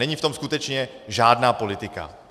Není v tom skutečně žádná politika.